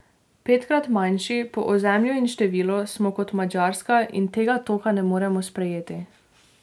Petkrat manjši, po ozemlju in številu, smo kot Madžarska in tega toka ne moremo sprejeti.